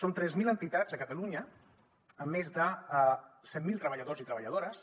són tres mil entitats a catalunya amb més de cent mil treballadors i treballadores